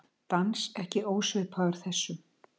Dans ekki ósvipaðan þessum.